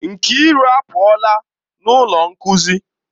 Nkiru apuola n'ọnụ ụlọ nkuzi.